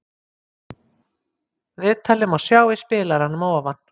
Viðtalið má sjá í spilaranum að ofan.